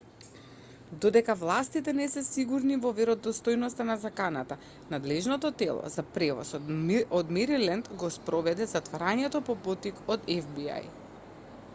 додека властите не се сигурни во веродостојноста на заканата надлежното тело за превоз од мериленд го спроведе затворањето по поттик од фби